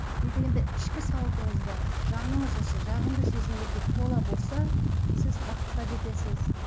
не дегенде ішкі сауатыңызда жаныңыз осы жағымды сезімдерге тола болса сіз бақытқа жетесіз